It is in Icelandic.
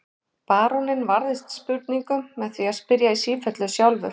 Baróninn varðist spurningum með því að spyrja í sífellu sjálfur.